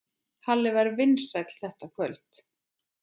Halli var vinsæll þetta kvöld.